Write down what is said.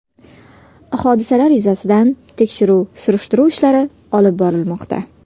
Hodisalar yuzasidan tekshiruv-surishtiruv ishlari olib borilmoqda.